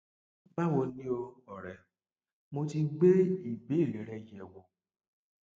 báwo ni o ọrẹ mo ti gbé ìbéèrè rẹ yẹ wò